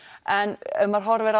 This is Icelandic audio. en ef maður horfir